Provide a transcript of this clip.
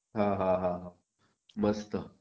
हाहाहा मस्त